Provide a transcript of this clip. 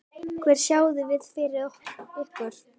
Hvað sjáið þið fyrir ykkur?